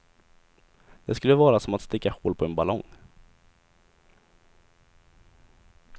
Det skulle vara som att sticka hål på en ballong.